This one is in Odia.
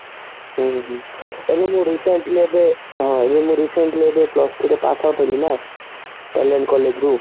ହଁ ହଁ ଏବେ ତ recent ଥିଲା ତ ହଁ recently pass out ହେଲିନା କଲ୍ଯାଣ collage ରୁ